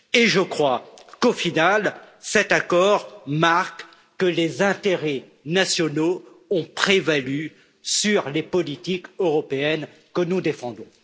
Je crois qu'au final, cet accord marque que les intérêts nationaux ont prévalu sur les politiques européennes que nous défendons.